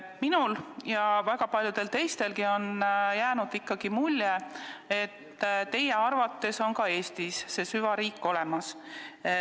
Minule ja väga paljudele teistelegi on jäänud ikkagi mulje, et teie arvates on ka Eestis see süvariik olemas.